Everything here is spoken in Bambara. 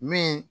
Min